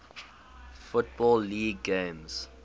football league games